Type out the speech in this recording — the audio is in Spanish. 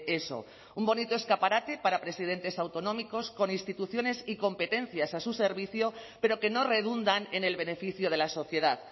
eso un bonito escaparate para presidentes autonómicos con instituciones y competencias a su servicio pero que no redundan en el beneficio de la sociedad